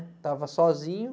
Estava sozinho.